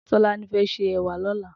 Tolani fè sé èwà lòlá